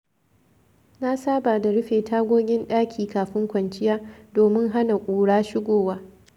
Na saba da rufe tagogin ɗaki kafin kwanciya, domin hana ƙura shigowa.